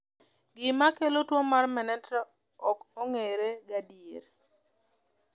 Gima kelo tuo mar Mntrier ok ong’ere gadier.